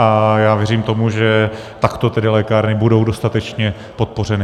A já věřím tomu, že takto tedy lékárny budou dostatečně podpořeny.